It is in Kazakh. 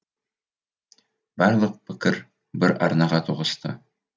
барлық пікір бір арнаға тоғысты